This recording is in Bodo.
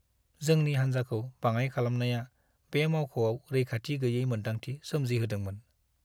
जोंनि हान्जाखौ बाङाइ खालामनाया बे मावख'आव रैखाथि गैयै मोन्दांथि सोमजिहोदोंमोन।